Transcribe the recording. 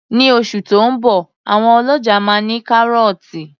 Ní oṣù tí ó ń bọ̀ àwọn ọlọ́ja máa ní kárọ́tì